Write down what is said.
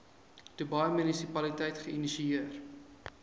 dubai munisipaliteit geïnisieer